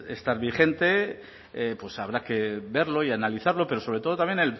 estar vigente pues habrá que verlo y analizarlo pero sobre todo también